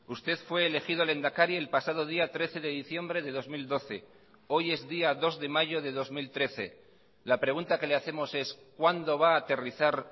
usted fue elegido lehendakari el pasado día trece de diciembre de dos mil doce hoy es día dos de mayo de dos mil trece la pregunta que le hacemos es cuándo va a aterrizar